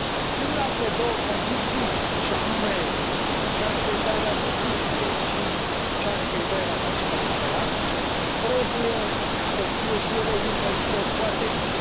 Celelalte două condiții, și anume cea referitoare la justiție și cea referitoare la sistemul electoral trebuie să fie și ele urmărite cu atenție.